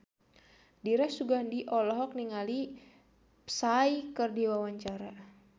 Dira Sugandi olohok ningali Psy keur diwawancara